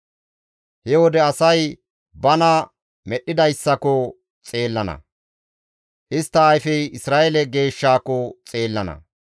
He wode asay bana Medhdhidayssako xeellana; istta ayfey Isra7eele Geeshshaako xeellana.